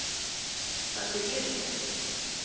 Það sé viðurkennt